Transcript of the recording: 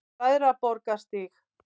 Bræðraborgarstíg